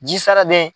Ji sara bɛ yen